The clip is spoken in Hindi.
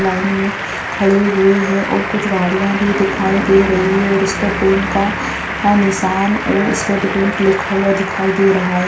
लाइन में खड़े हुए हैऔर कुछ गाड़ियाँ भी दिखाई दे रही है और उसपे बैंक का निशान और स्टेट बैंक लिखा हुआ दिखाई दे रहा है